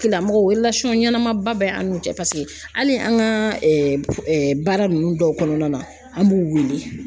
Tigilamɔgɔw ɲɛnamaba bɛ an n'u cɛ, paseke hali an ka baara ninnu dɔw kɔnɔna na ,an b'u wele.